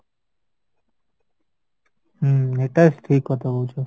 ହୁଁ ଏଇଟା ଠିକ କଥା କହୁଚ